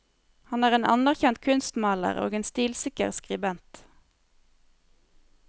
Han er en anerkjent kunstmaler og en stilsikker skribent.